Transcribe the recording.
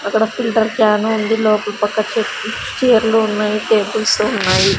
అక్కడ filter can ఉంది లోపల పక్క చె చేర్లు ఉన్నాయి టేబుల్సు ఉన్నాయి.